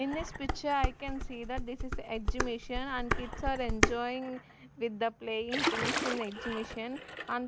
In this picture I can see that this is a edge mission and kids are enjoying with the playing things in the edge mission and--